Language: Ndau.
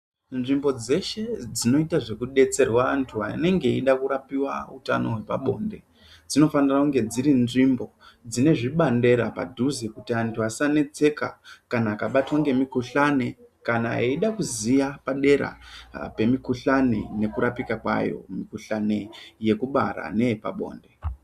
Nzvimbo dzeshe dzinoite zvekudetserwe antu anenge eide kurapiwa utano hwepabonde dzinofanire kunge dziri nzvimbo dzine zvibandera padhuze kuti akabatwa ngemikuhlani kana eida kuziya padera pemikuhlani nekurapika kwayo mikuhlani yekubara neyepabonde.